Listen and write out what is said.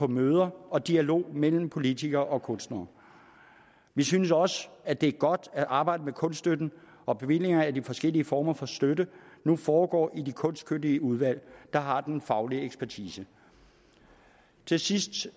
møder og dialog mellem politikere og kunstnere vi synes også at det er godt at arbejdet med kunststøtten og bevillingerne af de forskellige former for støtte nu foregår i de kunstkyndige udvalg der har den faglige ekspertise til sidst